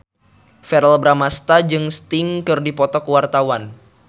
Verrell Bramastra jeung Sting keur dipoto ku wartawan